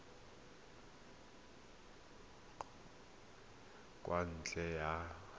kgokagano ya kwa ntle ka